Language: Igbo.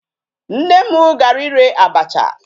Nne m gara ire abacha.